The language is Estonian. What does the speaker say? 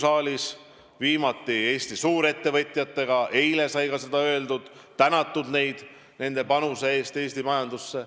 Alles eile Eesti suurettevõtjatega kohtudes sai ka neid tänatud nende panuse eest Eesti majandusse.